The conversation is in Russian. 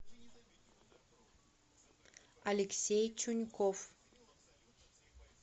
алексей чуньков